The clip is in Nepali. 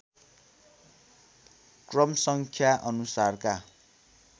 क्रमसङ्ख्या अनुसारका